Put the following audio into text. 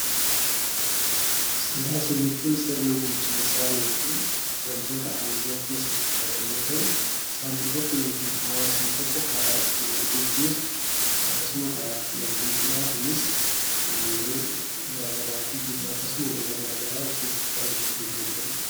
Siyaasa jechuun sirna bulchiinsaa yookiin wantoota aangoo of keessatti qabatan yoo ta'u, sabni tokko (hawaasni tokko) karaa ittiin wal geggeessu akkasuma karaa ittiin wal bulchudhaa. Kunis aangoo, jaalalaa fi jibba akkasuma lola garaagaraa of keessatti qabachuu kan danda'uu dha.